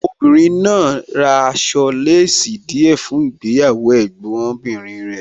Obìnrin náà ra aṣọ láàsì díẹ̀ fún ìgbéyàwó Ẹ̀gbọ́n bìnrin rẹ̀.